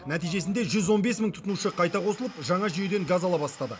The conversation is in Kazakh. нәтижесінде жүз он бес мың тұтынушы қайта қосылып жаңа жүйеден газ ала бастады